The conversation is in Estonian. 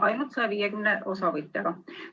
Ainult 150 osavõtjaga!